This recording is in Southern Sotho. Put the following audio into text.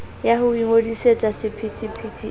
ya ho ingodisetsa sephethephethe e